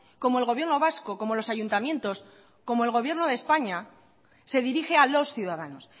como el gobierno vasco como los ayuntamientos como el gobierno de españa se dirige a los ciudadanos